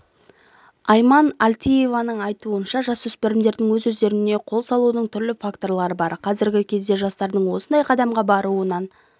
айман әлтиеваның айтуынша жасөспірімдердің өз-өздеріне қол салудың түрлі факторы бар қазіргі кезде жастардың осындай қадамға баруынын